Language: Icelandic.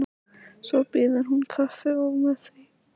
Svo býður hún kaffi og með því.